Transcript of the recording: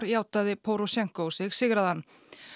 játaði Pórósjenkó sig sigraðan